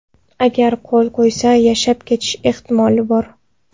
Agar qo‘l qo‘ysa, yashab ketish ehtimoli bor.